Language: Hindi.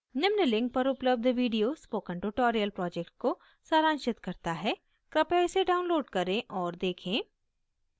निम्न link पर उपलब्ध video spoken tutorial project को सारांशित करता है कृपया इसे download करें और देखें